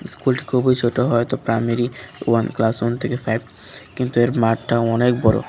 স্কুলটি খুবই ছোট হয়ত প্রামারী ওয়ান ক্লাস ওয়ান থেকে ফাইভ কিন্তু এর মাঠটা অনেক বড়।